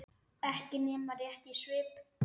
Ekki nema rétt í svip.